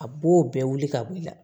A b'o bɛɛ wuli ka bɔ i la